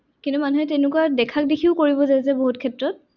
কিন্তু মানুহে তেনেকুৱা দেখাক দেখিও কৰিব যায় যে বহুত ক্ষেত্ৰত।